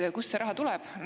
Kust see raha tuleb?